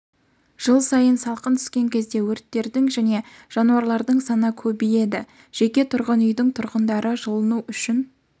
жыл сайын салқын түскен кезде өрттердің және жанулардың саны көбейеді жеке тұрғын үйдің тұрғындары жылыну үшін